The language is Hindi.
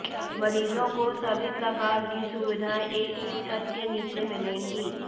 मरीजों को सभी प्रकार की सुविधाएं एक ही छत के नीचे मिलेंगी